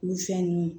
Olu fɛn nunnu